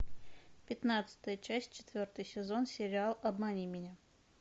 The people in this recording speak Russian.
пятнадцатая часть четвертый сезон сериал обмани меня